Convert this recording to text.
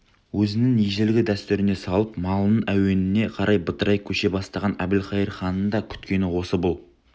өзінің ежелгі дәстүріне салып малының әуеніне қарай бытырай көше бастаған әбілқайыр ханның да күткені осы бұл